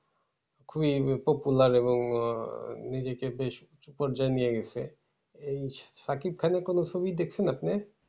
খুবই popular এবং আহ নিজেকে বেশ পর্যায়ে নিয়ে গেছে। এই সাকিব খানের কোনো ছবি দেখছেন আপনি?